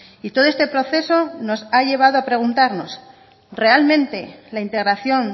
y todo este proceso nos ha llevado a preguntarnos realmente la integración